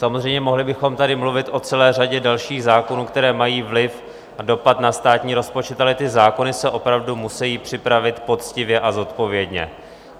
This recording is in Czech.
Samozřejmě mohli bychom tady mluvit o celé řadě dalších zákonů, které mají vliv a dopad na státní rozpočet, ale ty zákony se opravdu musí připravit poctivě a zodpovědně.